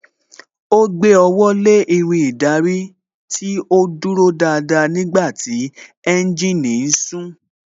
Ó gbé ọwọ́ lé Irin ìdarí tí ó dúró dáadáa nígbàtí tí ẹ́ńjìnì ń sún